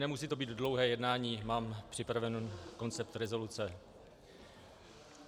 Nemusí to být dlouhé jednání, mám připraven koncept rezoluce.